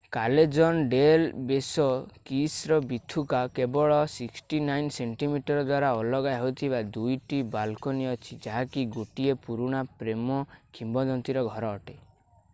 କାଲେଜନ୍ del Beso kiss ର ବୀଥିକା। କେବଳ 69 ସେଣ୍ଟିମିଟର ଦ୍ଵାରା ଅଲଗା ହେଉଥିବା 2 ଟି ବାଲକୋନି ଅଛି ଯାହାକି ଗୋଟିଏ ପୁରୁଣା ପ୍ରେମ କିମ୍ବଦନ୍ତୀର ଘର ଅଟେ।